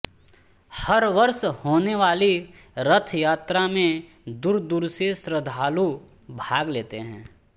हर वर्ष होने वाली रथ यात्रा में दूर दूर से श्रृद्धालू भाग लेते हैं